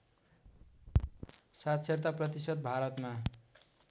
साक्षरता प्रतिशत भारतमा